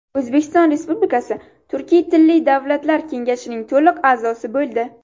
O‘zbekiston Respublikasi Turkiy tilli davlatlar Kengashining to‘liq a’zosi bo‘ldi.